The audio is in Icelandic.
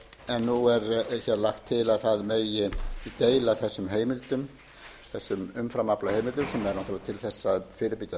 en nú er lagt til að það megi deila þessum heimildum þessum umframaflaheimildum sem er náttúrlega til þess að fyrirbyggja